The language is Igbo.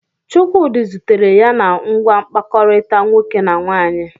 Chukwudi zutere ya na ngwa mkpakọrịta nwoke na nwaanyị.